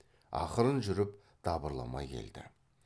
ақырын жүріп дабырламай келді